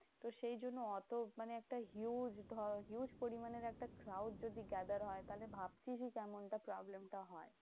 তো সেই জন্য অত মানে একটা huge ধর huge পরিমানের একটা crowd যদি gather হয়, তাহলে ভাব শুধু problem টা হয়?